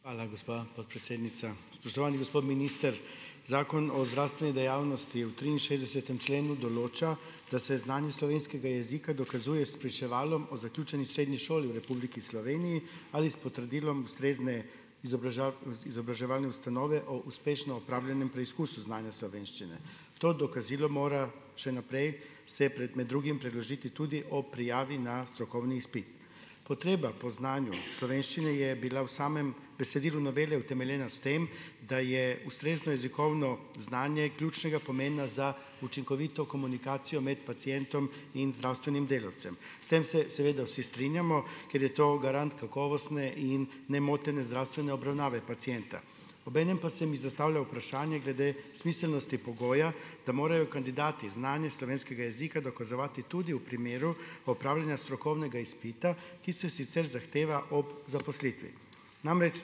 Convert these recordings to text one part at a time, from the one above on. Hvala, gospa podpredsednica. Spoštovani gospod minister. Zakon o zdravstveni dejavnosti v triinšestdesetem členu določa, da se znanje slovenskega jezika dokazuje s spričevalom o zaključeni srednji šoli v Republiki Sloveniji ali s potrdilom ustrezne izobraževalne ustanove o uspešno opravljenem preizkusu znanja slovenščine. To dokazilo mora še naprej se med drugim predložiti tudi ob prijavi na strokovni izpit. Potreba po znanju slovenščine je bila v samem besedilu novele utemeljena s tem, da je ustrezno jezikovno znanje ključnega pomena za učinkovito komunikacijo med pacientom in zdravstvenim delavcem. S tem se seveda vsi strinjamo, ker je to garant kakovostne in nemotene zdravstvene obravnave pacienta. Obenem pa se mi zastavlja vprašanje glede smiselnosti pogoja, da morajo kandidati znanje slovenskega jezika dokazovati tudi v primeru opravljanja strokovnega izpita, ki se sicer zahteva ob zaposlitvi. Namreč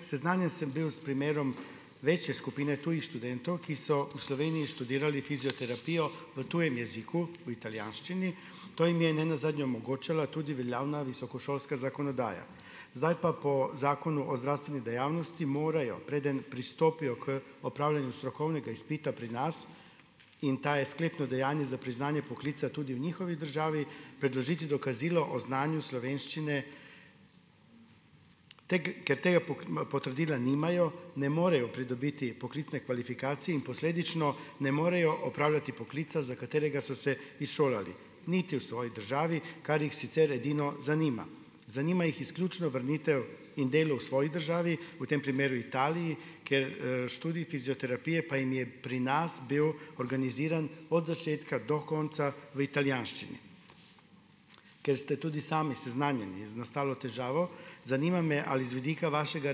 seznanjen sem bil s primerom večje skupine tujih študentov, ki so v Sloveniji študirali fizioterapijo v tujem jeziku, v italijanščini. To jim je ne nazadnje omogočala tudi veljavna visokošolska zakonodaja. Zdaj pa po Zakonu o zdravstveni dejavnosti morajo, preden pristopijo k opravljanju strokovnega izpita pri nas - in ta je sklepno dejanje za priznanje poklica tudi v njihovi državi - predložiti dokazilo o znanju slovenščine. ker tega potrdila nimajo, ne morejo pridobiti poklicne kvalifikacije in posledično ne morejo opravljati poklica, za katerega so se izšolali, niti v svoji državi, kar jih sicer edino zanima. Zanima jih izključno vrnitev in delo v svoji državi, v tem primeru Italiji, ker, študij fizioterapije pa jim je pri nas bil organiziran od začetka do konca v italijanščini. Ker ste tudi sami seznanjeni z nastalo težavo, zanima me, ali z vidika vašega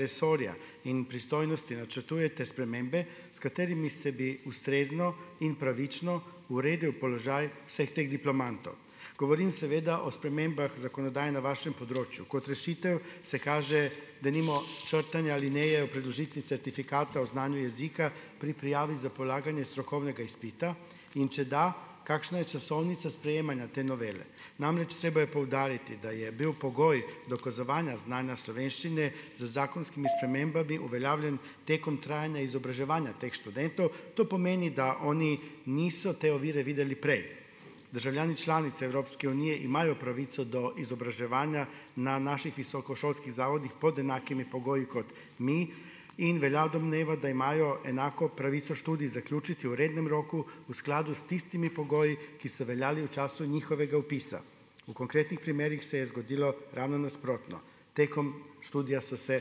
resorja in pristojnosti načrtujete spremembe, s katerimi se bi ustrezno in pravično uredil položaj vseh teh diplomantov. Govorim seveda o spremembah zakonodaje na vašem področju. Kot rešitev se kaže denimo črtanje alineje o predložitvi certifikata o znanju jezika pri prijavi za polaganje strokovnega izpita. In če da, kakšna je časovnica sprejemanja te novele. Namreč treba je poudariti, da je bil pogoj dokazovanja znanja slovenščine z zakonskimi spremembami uveljavljen tekom trajanja izobraževanja teh študentov. To pomeni, da oni niso te ovire videli prej. Državljani članice Evropske unije imajo pravico do izobraževanja na naših visokošolskih zavodih pod enakimi pogoji kot mi in velja domneva, da imajo enako pravico študij zaključiti v rednem roku v skladu s tistimi pogoji, ki so veljali v času njihovega vpisa. V konkretnih primerih se je zgodilo ravno nasprotno. Tekom študija so se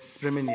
spremenili.